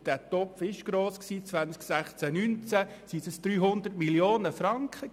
Und der Topf ist wirklich gross, in den Jahren 2016 bis 2019 handelte es sich um 300 Mio. Franken.